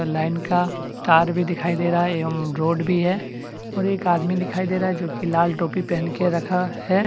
Line का तार भी दिखाई दे रहा है यम रोड भी है और एक आदमी दिखाई दे रहा है जो कि लाल टोपी पहन के रखा है।